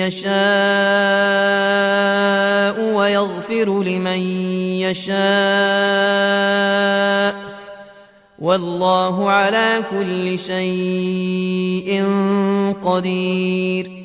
يَشَاءُ وَيَغْفِرُ لِمَن يَشَاءُ ۗ وَاللَّهُ عَلَىٰ كُلِّ شَيْءٍ قَدِيرٌ